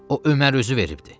O Ömər özü veribdir.